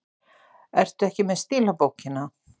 Ertu ekki með stílabókina?